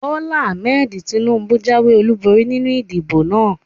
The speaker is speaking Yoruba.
Bólá Ahmed Tinúbú jáwé ọlúborí nínu ìdìbò náà